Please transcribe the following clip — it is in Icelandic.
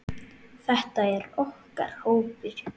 Þetta er okkar hópur.